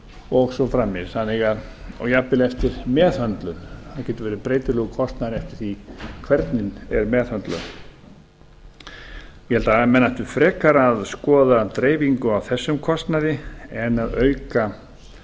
og svo framvegis og jafnvel eftir meðhöndlun það aftur verið breytilegur kostnaður eftir því hvernig meðhöndlun er ég held að menn ættu frekar að skoða dreifingu á þessum kostnaði en að auka